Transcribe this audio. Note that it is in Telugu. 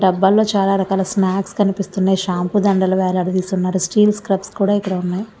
డబ్బాలలో చాలా రకాల స్నాక్స్ కనిపిస్తున్నాయి షాంపు దండలు స్టీల్ స్క్రబ్స్ కూడా ఇక్కడ ఉన్నాయి.